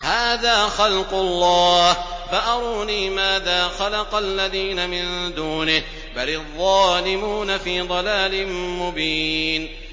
هَٰذَا خَلْقُ اللَّهِ فَأَرُونِي مَاذَا خَلَقَ الَّذِينَ مِن دُونِهِ ۚ بَلِ الظَّالِمُونَ فِي ضَلَالٍ مُّبِينٍ